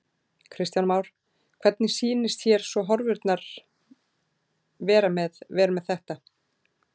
Kristján Már: Hvernig sýnist hér svona horfurnar vera með, með þetta?